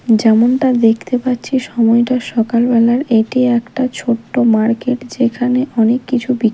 যেমনটা দেখতে পাচ্ছি সময়টা সকাল বেলার এটি একটা ছোট্ট মার্কেট যেখানে অনেককিছু বি--